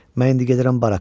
Mən indi gedirəm baraka.